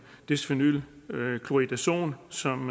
desphenyl chloridazon som